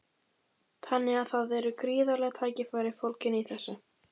Þannig að það eru gríðarleg tækifæri fólgin í þessu?